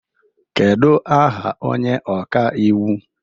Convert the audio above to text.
Kedu aha onye ọka iwu